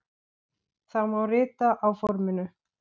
Það má rita á forminu